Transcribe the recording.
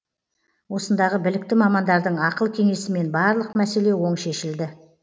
осындағы білікті мамандардың ақыл кеңесімен барлық мәселе оң шешілді